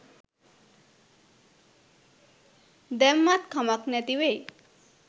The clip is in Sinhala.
දැම්මත් කමක් නැති වෙයි.